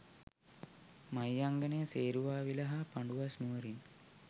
මහියංගණය, සේරුවාවිල හා පඬුවස් නුවරින්